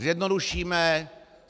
Zjednodušíme.